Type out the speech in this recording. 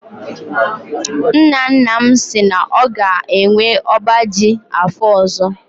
Nna nna m si na ọ ga-enwe ọba ji afọ ọzọ.